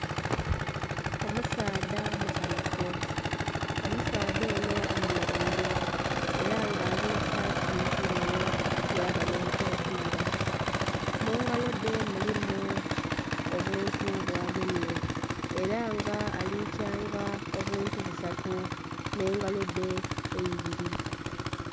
Omusaadha musanhufu, omusaadha ono ayemeleire era nga alina saati ndheru yaba nh'enkofiira, mu ngalo dhe mulimu obuntu bwagemye era nga ali kyanga obuntu busatu n'engalo dhe eibiri.